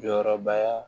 Jɔyɔrɔbaya